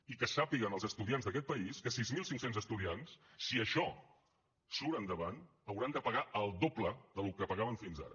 i que sàpiguen els estudiants d’aquest país que sis mil cinc cents estudiants si això surt endavant hauran de pagar el doble del que pagaven fins ara